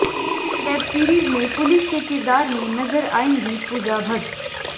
इस web series में police के किरदार में नजर आएंगी पूजा भट्ट